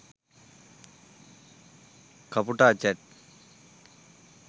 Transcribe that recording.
kaputa chat